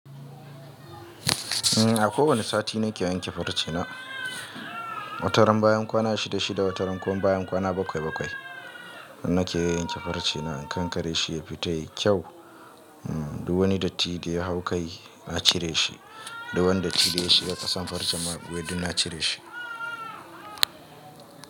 A kowani sati nake yanke farce na. Wata ran bayan kwana 66, wata rankuma bayan kwana bakwai bakwai nake yanke farce na in kankare shi yafi tayi kyau. Duk wani datti da ya hau kai na cire shi, duk wani datti da yashiga kasan farce mayaɓuya na cire shi.